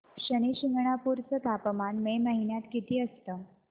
शनी शिंगणापूर चं तापमान मे महिन्यात किती असतं